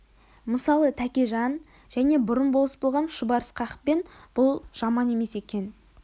мысалы тәкежан және бұрын болыс болған шұбар ысқақпен бұл жаман емес екен